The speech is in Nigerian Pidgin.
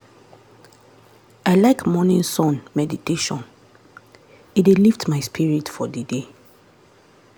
i like morning sun meditation — e dey lift my spirit for the day.